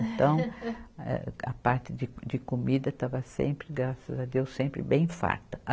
Então, eh, a parte de, de comida estava sempre, graças a Deus, sempre bem farta.